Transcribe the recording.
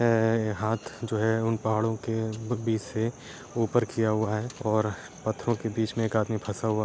अ हाथ जो है उन पहड़ो के बीच से ऊपर किया हुआ है और पत्थरों के बीच में एक आदमी फंसा हुआ --